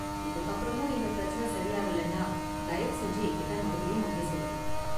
இதுக்கு அப்பறமும் இந்த பிரச்சின சரி ஆகலன்னா தயவு செஞ்சு என்கிட்ட மறுபடியும் வந்து சொல்லுங்க.